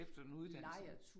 Efter en uddannelse